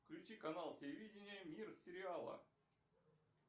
включи канал телевидения мир сериалов